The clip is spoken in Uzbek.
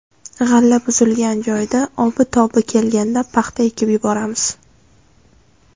G‘alla buzilgan joyda obi-tobi kelganda paxta ekib yuboramiz.